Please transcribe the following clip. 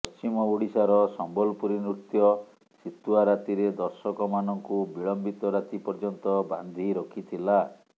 ପଶ୍ଚିମ ଓଡିଶାର ସମ୍ବଲପୁରୀ ନୃତ୍ୟ ଶିତୁଆ ରାତିରେ ଦର୍ଶକମାନଙ୍କୁ ବିଳମ୍ବିତ ରାତି ପର୍ଯ୍ୟନ୍ତ ବାନ୍ଧି ରଖିଥିଲା